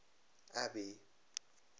abby